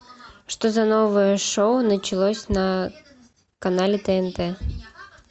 что за новое шоу началось на канале тнт